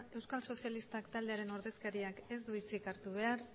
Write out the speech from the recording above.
euskal sozialistak taldearen ordezkariak ez du hitzi hartu behar